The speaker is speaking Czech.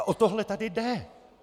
A o tohle tady jde.